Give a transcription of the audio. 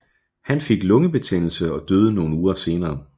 Han fik lungebetændelse og døde nogle uger senere